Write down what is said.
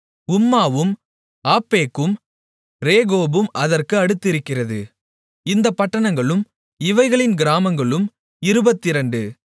உம்மாவும் ஆப்பெக்கும் ரேகோபும் அதற்கு அடுத்திருக்கிறது இந்தப் பட்டணங்களும் இவைகளின் கிராமங்களும் இருபத்திரண்டு